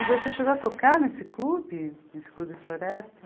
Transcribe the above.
E você chegou a tocar nesse clube, nesse clube nesse clube Floresta?